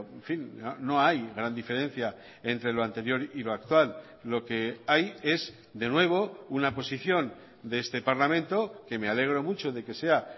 en fin no hay gran diferencia entre lo anterior y lo actual lo que hay es de nuevo una posición de este parlamento que me alegro mucho de que sea